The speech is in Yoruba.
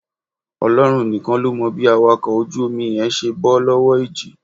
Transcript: Ọlọ́run nìkan ló mọ̀ bí awakọ̀ ojú omi yẹn ṣe bọ́ lọ́wọ́ ìjì